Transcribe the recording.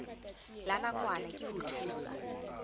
la nakwana ke ho thusa